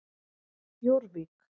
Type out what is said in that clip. Jórvík